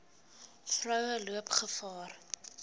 vroue loop gevaar